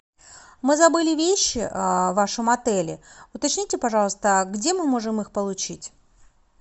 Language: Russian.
мы забыли вещи в вашем отеле уточните пожалуйста где мы можем их получить